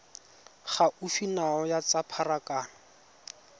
gaufi nao ya tsa pharakano